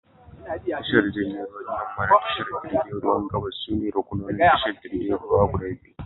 Tashar jirgin ruwan yamma da tashar jirgin ruwan gabas sune ruƙunonin tashar jirgin ruwa guda biyu.